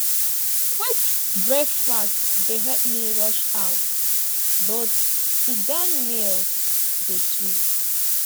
quick breakfast dey help me rush out but sitdown meals dey sweet